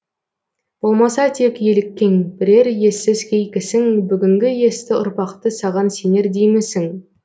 болмаса тек еліккен бірер ессіз кей кісің бүгінгі есті ұрпақты саған сенер деймісің